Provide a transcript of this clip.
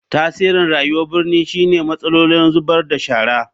Tasirin rayuwar birni shine matsalolin zubar da shara.